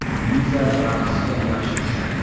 Liza raqsga yaxshi tushadi.